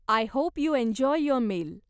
I hope you enjoy your meal.